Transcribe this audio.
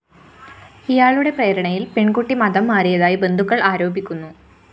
ഇയാളുടെ പ്രേരണയില്‍ പെണ്‍കുട്ടി മതം മാറിയതായി ബന്ധുക്കള്‍ ആരോപിക്കുന്നു